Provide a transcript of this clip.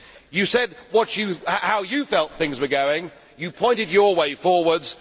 You said how you felt things were going, you pointed your way forwards.